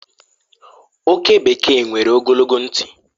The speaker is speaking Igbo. Oke bekee nwere ogologo ntị.